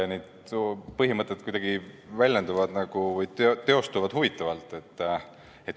Need põhimõtted kuidagi väljenduvad ja teostuvad huvitavalt.